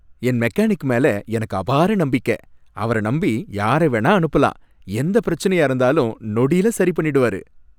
என் mechanic மேல எனக்கு அபார நம்பிக்கை. அவர நம்பி யாரை வேணா அனுப்பலாம். எந்த பிரச்சினையா இருந்தாலும் நொடியில சரி பண்ணிடுவாரு.